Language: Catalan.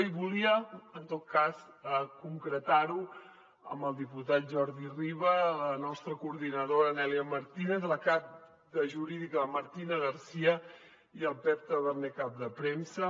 i volia en tot cas concretar ho en el diputat jordi riba la nostra coordinadora nelia martínez la cap de jurídica martina garcía i el pep taberner cap de premsa